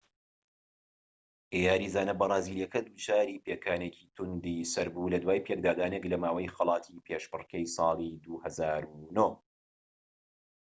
یاریزانە بەرازیلیەکە دووچاری پێکانێکی توندی سەر بوو لە دوای پێکدادانێک لە ماوەی خەڵاتی پێشبڕکێی ساڵی 2009